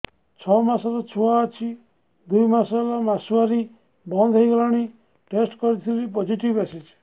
ଛଅ ମାସର ଛୁଆ ଅଛି ଦୁଇ ମାସ ହେଲା ମାସୁଆରି ବନ୍ଦ ହେଇଗଲାଣି ଟେଷ୍ଟ କରିଥିଲି ପୋଜିଟିଭ ଆସିଛି